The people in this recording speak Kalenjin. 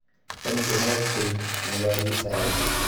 Kany komaek keny, king'alali saii